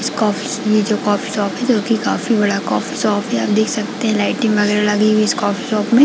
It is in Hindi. इस कफ यह जो कॉफ़ी शॉप जोकि काफी बड़ा कॉफ़ी शॉप है आप देख सकते है लाइटिंग वगैरह लगी हुई है कॉफ़ी शॉप में--